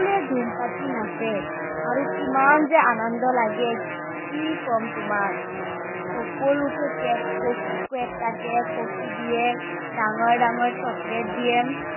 সকলোৱে জুম পাতি নাচে, আৰু কিমান যে আনন্দ লাগে, কি কম তোমাক। সকলোকে কেক কেক কাটে কফি দিয়ে, ডাঙৰ ডাঙৰ chocolate দিয়ে।